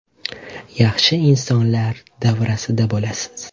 Yaxshi insonlar davrasida bo‘lasiz.